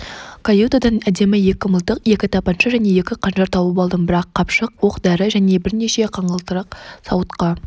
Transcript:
каютадан әдемі екі мылтық екі тапанша және екі қанжар тауып алдым бір қапшық оқ-дәрі және бірнеше қаңылтыр сауытқа